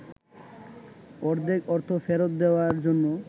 অর্ধেক অর্থ ফেরত দেওয়ার জন্য